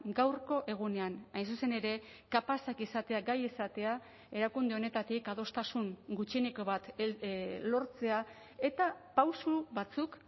gaurko egunean hain zuzen ere kapazak izatea gai izatea erakunde honetatik adostasun gutxieneko bat lortzea eta pauso batzuk